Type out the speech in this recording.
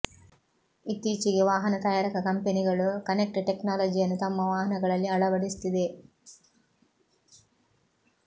ಇತ್ತೀಚಿಗೆ ವಾಹನ ತಯಾರಕ ಕಂಪನಿಗಳು ಕನೆಕ್ಟ್ ಟೆಕ್ನಾಲಜಿಯನ್ನು ತಮ್ಮ ವಾಹನಗಳಲ್ಲಿ ಅಳವಡಿಸುತ್ತಿವೆ